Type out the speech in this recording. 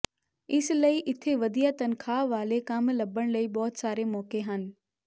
ਇਸ ਲਈ ਇੱਥੇ ਵਧੀਆ ਤਨਖ਼ਾਹ ਵਾਲੇ ਕੰਮ ਲੱਭਣ ਲਈ ਬਹੁਤ ਸਾਰੇ ਮੌਕੇ ਹਨ